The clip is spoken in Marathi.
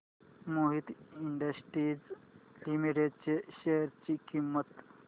मोहित इंडस्ट्रीज लिमिटेड च्या शेअर ची किंमत